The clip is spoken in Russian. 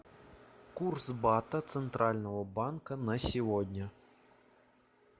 курс бата центрального банка на сегодня